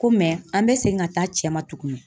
Ko mɛ an bɛ segin ka taa cɛ ma tuguni